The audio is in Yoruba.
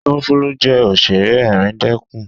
Túńfúlù jẹ́ Òṣẹ̀ré ẹ̀ríndẹkún.